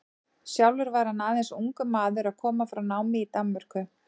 Sjálfur var hann aðeins ungur maður að koma frá námi í Danmörku.